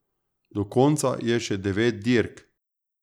Do konca je še devet dirk.